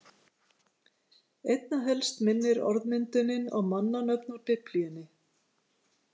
Einna helst minnir orðmyndunin á mannanöfn úr Biblíunni.